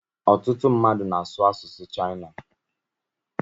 Ọtụtụ mmadụ na-asu asụsụ Chaịna